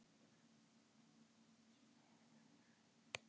Síðan stukku þeir uppá tunnurnar og létu þær bera sig yfir djúpin.